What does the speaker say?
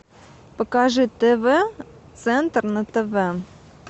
покажи тв центр на тв